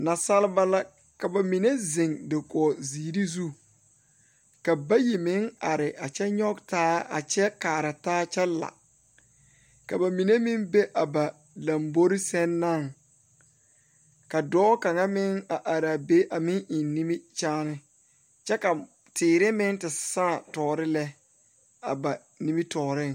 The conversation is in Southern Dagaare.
Nasaalba la ka ba mine zeŋ dakogi zeɛre zu ka bayi meŋ are a kyɛ nyɔge taa a kyɛ kaara taa kyɛ la.ka ba minne meŋ be a ba lambori seŋ na ka dɔɔ kaŋ meŋ a meŋ are a be a meŋ eŋ nimikyaane kyɛ ka teere meŋ te saaŋ tɔrɔ lɛ a ba nimitɔreŋ.